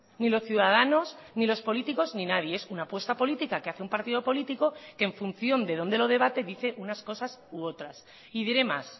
ni los ciudadanos ni los políticos ni nadie es una apuesta política que hace un partido político que en función de dónde lo debate dice unas cosas u otras y diré más